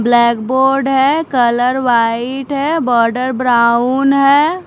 Blackboard है colour white है border brown है।